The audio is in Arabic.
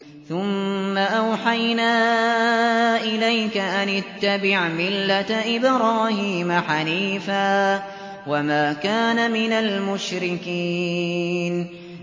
ثُمَّ أَوْحَيْنَا إِلَيْكَ أَنِ اتَّبِعْ مِلَّةَ إِبْرَاهِيمَ حَنِيفًا ۖ وَمَا كَانَ مِنَ الْمُشْرِكِينَ